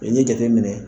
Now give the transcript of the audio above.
I ye jateminɛ kɛ